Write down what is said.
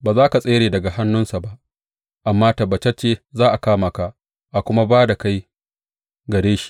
Ba za ka tsere daga hannunsa ba amma tabbatacce za a kama ka a kuma ba da kai gare shi.